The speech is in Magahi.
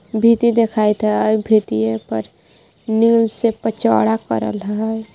भीति देखाइत है आउर भीतिए पर नील से पचौड़ा करल है.